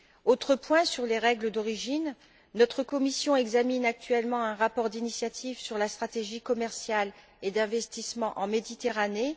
Autre point sur les règles d'origine notre commission examine actuellement un rapport d'initiative sur la stratégie commerciale et d'investissement en Méditerranée.